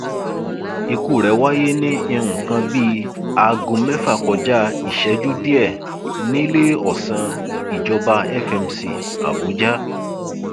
ikú rẹ wáyé ní nǹkan bíi aago mẹfà kọjá ìṣẹjú díẹ níléeọsán ìjọba fmc abuja